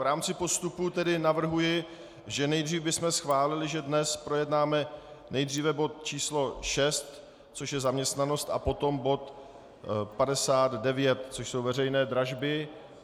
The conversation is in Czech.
V rámci postupu tedy navrhuji, že nejdřív bychom schválili, že dnes projednáme nejdříve bod číslo 6, což je zaměstnanost, a potom bod 59, což jsou veřejné dražby.